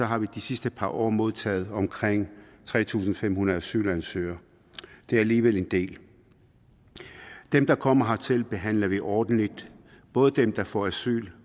har vi de sidste år år modtaget omkring tre tusind fem hundrede asylansøgere det er alligevel en del dem der kommer hertil behandler vi ordentligt både dem der får asyl